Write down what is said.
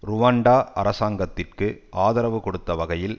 Rwanda அரசாங்கத்திற்கு ஆதரவு கொடுத்த வகையில்